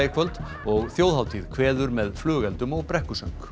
í kvöld og þjóðhátíð kveður með flugeldum og brekkusöng